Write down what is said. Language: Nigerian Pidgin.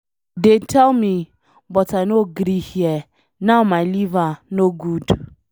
Dey tell me but I no gree hear, now my liver no good.